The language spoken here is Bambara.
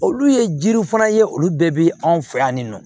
Olu ye jiri fana ye olu bɛɛ bɛ anw fɛ yan nin nɔ